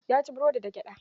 Ya ci burodin da gyada.